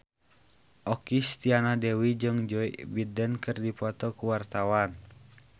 Okky Setiana Dewi jeung Joe Biden keur dipoto ku wartawan